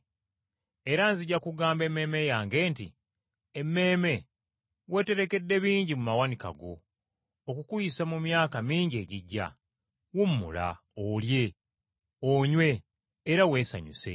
Era nzija kugamba emmeeme yange nti, “Emmeeme, weeterekedde bingi mu mawanika go okukuyisa mu myaka mingi egijja. Wummula, olye, onywe era weesanyuse!” ’